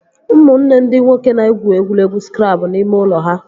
Ụmụnne ndị nwoke na-egwu egwuregwu skrabụl n'ime ụlọ ha